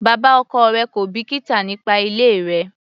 Bàbá ọkọ rẹ̀ kò bìkítà nípa ilé rẹ.